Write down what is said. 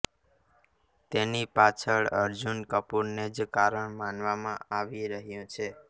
તેની પાછળ અર્જુન કપૂરને જ કારણ માનવામાં આવી રહ્યું છે